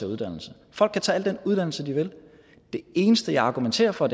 uddannelse folk kan tage al den uddannelse de vil det eneste jeg argumenterer for